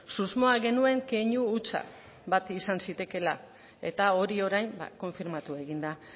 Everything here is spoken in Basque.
susmoa genuen keinu hutsa bat izan zitekeela eta hori orain konfirmatu egin da